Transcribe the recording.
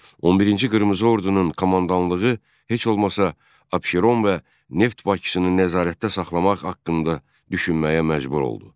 11-ci qırmızı ordunun komandanlığı heç olmasa Abşeron və Neft Bakısını nəzarətdə saxlamaq haqqında düşünməyə məcbur oldu.